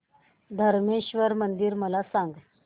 धरमेश्वर मंदिर मला सांग